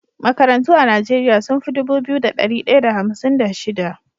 Makarantu a nigeria sunfi Dubu biyu da dari daya da hamsin da shida